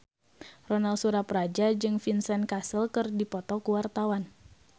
Ronal Surapradja jeung Vincent Cassel keur dipoto ku wartawan